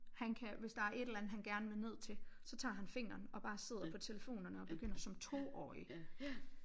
Han kan hvis der er et eller andet han gerne vil ned til så tager han fingeren og bare sidder på telefonerne og begynder som toårig